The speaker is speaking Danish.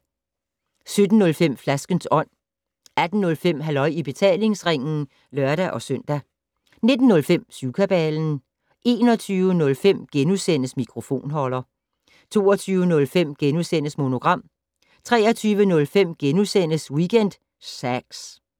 17:05: Flaskens Ånd 18:05: Halløj i betalingsringen (lør-søn) 19:05: Syvkabalen 21:05: Mikrofonholder * 22:05: Monogram * 23:05: Weekend Sax *